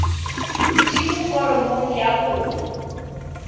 di mo foromong ya kopo